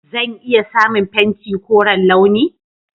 Zan iya samun fenti koren launi?